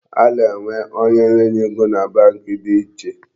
A na-enwe onye nye ego na Bank dị iche.